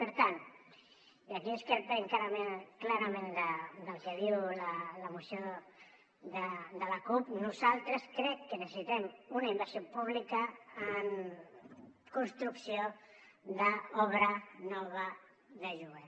per tant i aquí discrepem clarament del que diu la moció de la cup nosaltres crec que necessitem una inversió pública en construcció d’obra nova de lloguer